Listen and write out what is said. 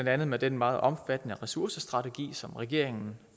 andet med den meget omfattende ressourcestrategi som regeringen